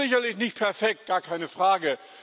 Es ist sicherlich nicht perfekt, gar keine Frage.